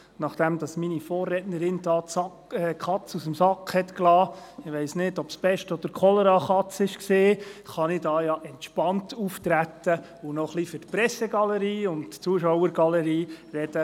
Nachdem meine Vorrednerin die Katze aus dem Sack gelassen hat – ich weiss nicht, ob es die Pest- oder die Cholera-Katze war –, kann ich hier ja entspannt auftreten und noch ein wenig für die Presse- und die Zuschauergalerie reden.